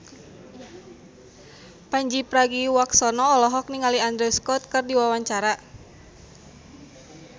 Pandji Pragiwaksono olohok ningali Andrew Scott keur diwawancara